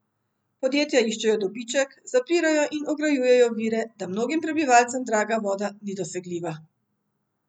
Podjetja iščejo dobiček, zapirajo in ograjujejo vire, da mnogim prebivalcem draga voda ni dosegljiva.